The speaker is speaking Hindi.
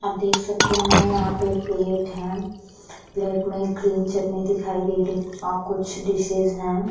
आप देख सकते हैं यहाँ पे प्लेट हैं। प्लेट में ग्रीन चटनी दिखाई दे रही और कुछ डिशेज हैं।